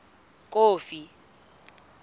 kofi